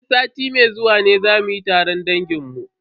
Sai sati mai zuwa ne za mu yi taron dangin mu.